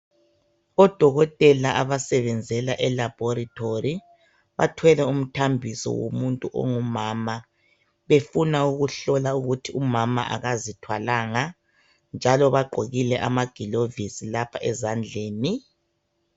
ODokotela abasebenzela elabhoritori bathwele umthambiso womuntu ongumama. Befuna ukuhlola ukuthi umama akazithwalanga ,njalo bagqokile amagilovisi lapha ezandleni.